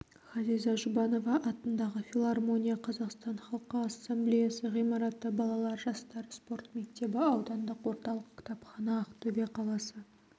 ғазиза жұбанова атындағы филармония қазақстан халқы ассамблеясы ғимараты балалар жастар спорт мектебі аудандық орталық кітапхана ақтөбе қаласы